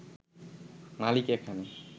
মালিক এখানে